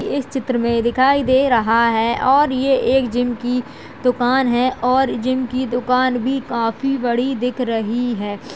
इस चित्र में दिखाई दे रहा है और ये एक जिम की दुकान है और जिम की दुकान भी काफी बड़ी दिख रही है।